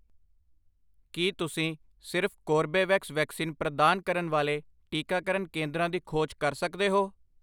ਕੀ ਤੁਸੀਂ ਸਿਰਫ਼ Corbevax vaccine ਪ੍ਰਦਾਨ ਕਰਨ ਵਾਲੇ ਟੀਕਾਕਰਨ ਕੇਂਦਰਾਂ ਦੀ ਖੋਜ ਕਰ ਸਕਦੇ ਹੋ?